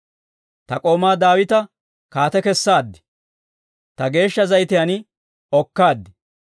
Ta k'ooma Daawita kaate kesaad; ta geeshsha zayitiyaan okaade.